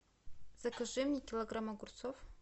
закажи мне килограмм огурцов